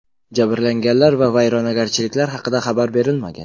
Jabrlanganlar va vayronagarchiliklar haqida xabar berilmagan.